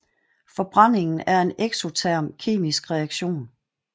Forbrændingen er en eksoterm kemisk reaktion